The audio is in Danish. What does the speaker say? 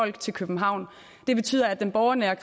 i københavn hvor der er